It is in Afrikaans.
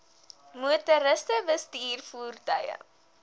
motoriste bestuur voertuie